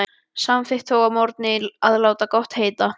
Samþykkti þó að morgni að láta gott heita.